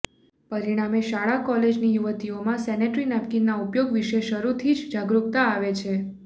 પરીણામે શાળા કોલેજની યુવતીઓમાં સેનેટરી નેપકિનના ઉપયોગ વિશે શરૂથી જ જાગૃકતતા આવે છે